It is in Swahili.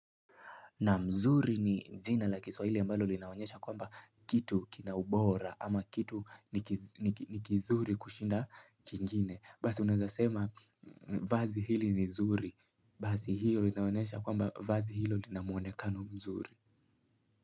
Naam mzuri ni jina la kiswahili ambalo linaonyesha kwamba kitu kina ubora ama kitu ni kizuri kushinda kingine Basi unavyosema vazi hili ni nzuri Basi hilo linaonesha kwamba vazi hilo lina muonekano mzuri.